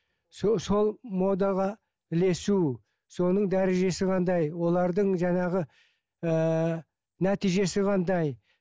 сол модаға ілесу соның дәрежесі қандай олардың жаңағы ыыы нәтижесі қандай